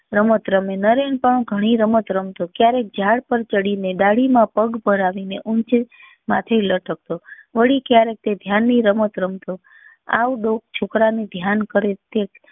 રમત રમે નરેન પણ ગણી રમતો રમતો ક્યારેક ઝાડ પર ચડી ને ડાળી માં પગ ભળાવી ને ઉંચે માટે લટકતો વડી ક્યારેક તે ધ્યાન ની રમત રમતો આવું ડોક છોકરા ને ધ્યાન કરે તે